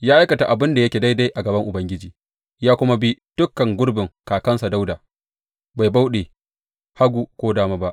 Ya aikata abin da yake daidai a gaban Ubangiji ya kuma bi dukan gurbin kakansa Dawuda, bai bauɗe hagu ko dama ba.